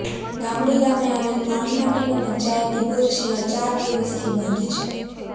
ગામડી ગામે આવેલ પાણી માટેનો પંચાયતી બોર છેલ્લા ચાર દિવસથી બંધ છે